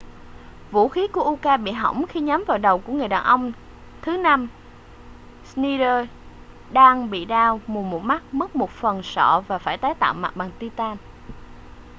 vũ khí của uka bị hỏng khi nhắm vào đầu của người đàn ông thứ năm schneider đang bị đau mù một mắt mất một phần sọ và phải tái tạo mặt bằng titan